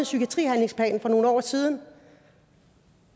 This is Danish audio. psykiatrihandlingsplan for nogle år siden